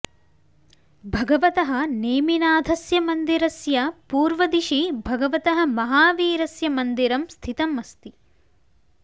भगवतः नेमिनाथस्य मन्दिरस्य पूर्वदिशि भगवतः महावीरस्य मन्दिरं स्थितम् अस्ति